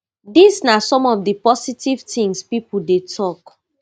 dis na some of di positive tins pipo dey tok